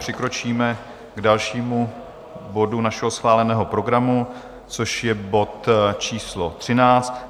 Přikročíme k dalšímu bodu našeho schváleného programu, což je bod číslo